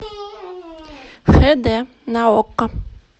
хд на окко